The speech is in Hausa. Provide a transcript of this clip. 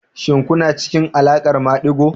Shin kuna cikin alaƙar madigo?